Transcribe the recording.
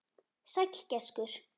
Sæll gæskur.